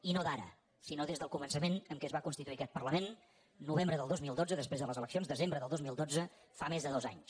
i no d’ara sinó des del començament que es va constituir aquest parlament novembre del dos mil dotze després de les eleccions desembre del dos mil dotze fa més de dos anys